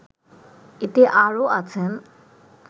এতে আরও আছেন